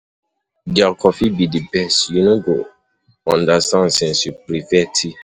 Their coffee be the best, you you no go understand since you prefare tea.